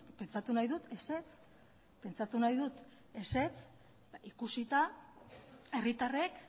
pentsatu nahi dut ezetz pentsatu nahi dut ezetz ikusita herritarrek